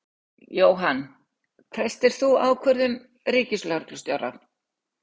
Jóhann: Treystir þú ákvörðun Ríkislögreglustjóra?